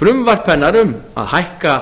frumvarp hennar um að hækka